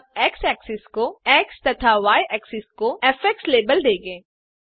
हम x axis को x तथा y एक्सिस को फ़ लेबल देंगे